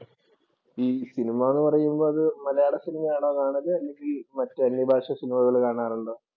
ഈ സിനിമാന്നു പറയുമ്പോൾ അത് മലയാള സിനിമയാണോ കാണല് അതോ മറ്റ് അന്യഭാഷ സിനിമകൾ കാണാറുണ്ടോ?